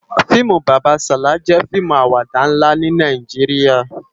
FIimú Baba Sala jè fiimú àwàdá nlá ni Nàijiriá